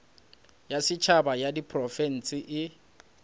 ya setšhaba ya diprofense e